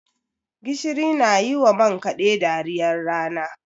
Gishiri na yi wa man kaɗe dariyar rana.